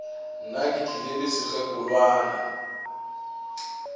nna ke tlile le sekgekolwana